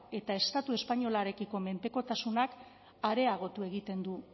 eta estatu espainolarekiko mendekotasunak areagotu egiten du